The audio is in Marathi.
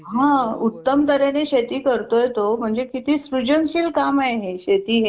हम्म बरं